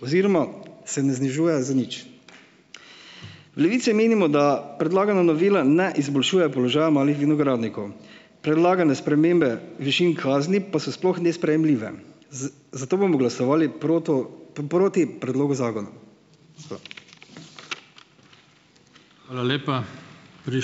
oziroma se ne znižuje za nič. V Levici menimo, da predlagana novela ne izboljšuje položaja malih vinogradnikov. Predlagane spremembe višin kazni pa so sploh nesprejemljive, zato bomo glasovali proto proti predlogu zakona. Hvala.